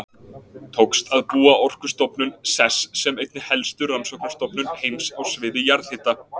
Tókst að búa Orkustofnun sess sem einni helstu rannsóknastofnun heims á sviði jarðhita.